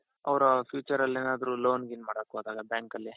ಅವರ future ಅಲ್ಲಿ ಏನಾದ್ರು loan ಗೀನ್ ಮಾಡಕ್ ಹೋದಾಗ bank ಅಲ್ಲಿ.